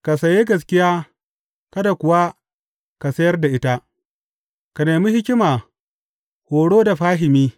Ka saye gaskiya kada kuwa ka sayar da ita; ka nemi hikima, horo da fahimi.